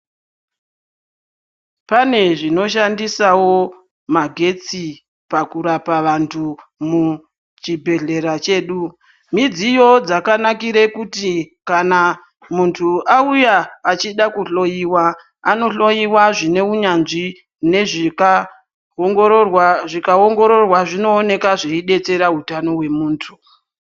Pane zvinoshandisawo magetsi pakurapa vantu muchibhedhlera chedu. Mudziyo dzakanakira pakuti muntu auya achida kuhloiwa, anohloiwa zvine unyanzvi nezvikaongororwa zvikaongororwa zvinooneka zvichibatsira utano hwemuntu.